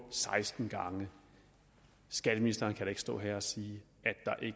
seksten gange skatteministeren kan da ikke stå her og sige